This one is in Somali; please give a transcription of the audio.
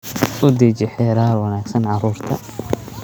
U deji xeerar wanaagsan carruurta